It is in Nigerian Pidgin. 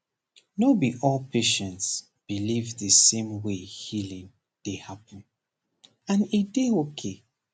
no be all patients believe the same way healing dey happen and e dey okay